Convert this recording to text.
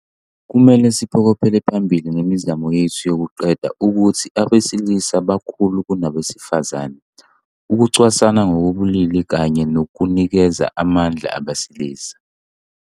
Kumele siphokophele phambili ngemizamo yethu yokuqeda ukuthi abesilisa bakhulu kunabesifazane, ukucwasana ngokobulili kanye nokunikeza amandla abesilisa.